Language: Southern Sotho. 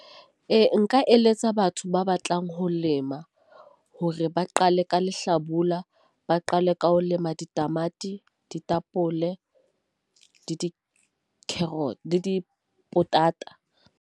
Ee, nka eletsa batho ba batlang ho lema hore ba qale ka Lehlabula, ba qale ka ho lema ditamati. Ditapole le dikhoso le dipotata.